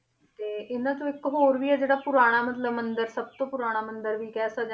ਤੇ ਇਹਨਾਂ ਚੋਂ ਇੱਕ ਹੋਰ ਵੀ ਹੈ ਜਿਹੜਾ ਪੁਰਾਣਾ ਮਤਲਬ ਮੰਦਿਰ ਸਭ ਤੋਂ ਪੁਰਾਣਾ ਮੰਦਿਰ ਵੀ ਕਹਿ ਸਕਦੇ ਹਾਂ